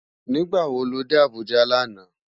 Nigbá wó ló dé Abuja làná?